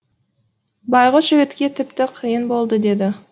байғұс жігітке тіпті қиын болды деді